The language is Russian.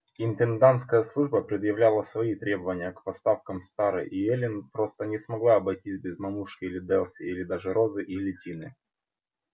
интендантская служба предъявляла свои требования к поставкам с тары и эллин просто не смогла обойтись без мамушки или дилси или даже розы или тины